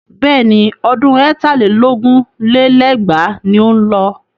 Bẹ́ẹ̀ni, ọdún ẹ̀tà lé lógún lé lẹ́gbàá ni ó ń lọ.